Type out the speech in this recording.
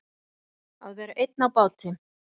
Að vera einn á báti